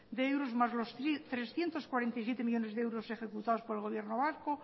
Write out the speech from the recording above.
de euros más los trescientos cuarenta y siete millónes de euros ejecutados por el gobierno vasco